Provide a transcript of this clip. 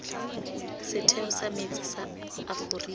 setheo sa metsi sa aforika